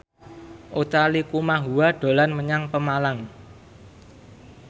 Utha Likumahua dolan menyang Pemalang